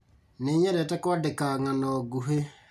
Nĩnyendete kwandĩka ng'ano nguhĩ